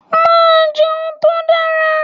Màá jẹun tó dára.